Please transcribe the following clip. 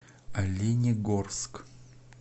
оленегорск